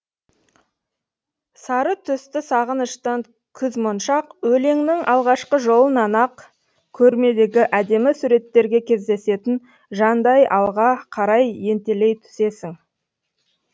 сары түсті сағыныштан күз моншақ өлеңнің алғашқы жолынан ақ көрмедегі әдемі суреттерге кездесетін жандай алға қарай ентелей түсесің